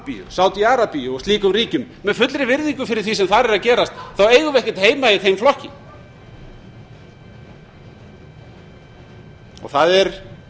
sambíu sádi arabíu og slíkum ríkjum með fullri virðingu fyrir því sem þar er að gerast þá eigum við ekkert heima í þeim flokki það er